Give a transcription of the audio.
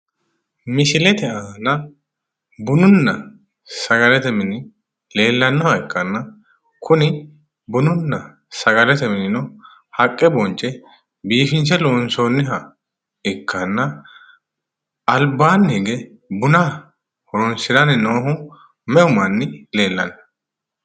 Misilete aana bununna sagalete mine haqqe bonce biifinse loonsoonniha ikkanna albaanni hige me"u manni leellanno?